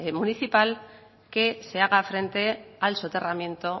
municipal que se haga frente al soterramiento